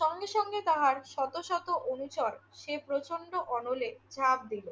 সঙ্গে সঙ্গে তাহার শত শত অনুচর সে প্রচণ্ড অনলে ঝাঁপ দিল।